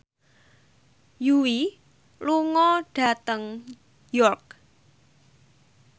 Yui lunga dhateng York